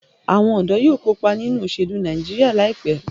Awon ọdọ yóò kopa ninu oselu Nàìjíríà laipe